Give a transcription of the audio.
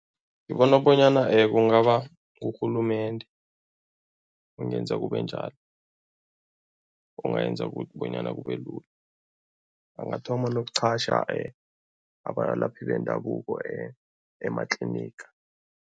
Ngibona bonyana kungaba ngurhulumende ongenza kube njalo, ongayenza ukuthi bonyana kube lula, angathoma nokuqhasha abalaphi bendabuko ematliniga.